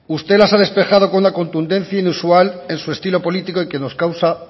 usted las ha despejado con una contundencia inusual en su estilo político y que nos causa